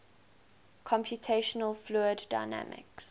computational fluid dynamics